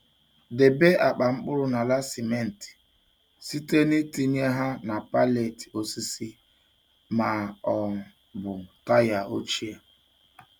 Debe akpa mkpụrụ n'ala simenti site n'itinye ha na pallet osisi ma ọ bụ taya ochie.